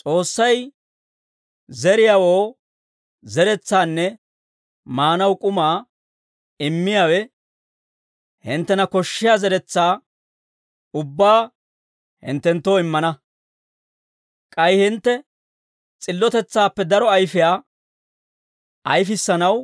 S'oossay, zeriyaawoo zeretsaanne maanaw k'umaa immiyaawe, hinttena koshshiyaa zeretsaa ubbaa hinttenttoo immana; k'ay hintte s'illotetsaappe daro ayfiyaa ayifissanaw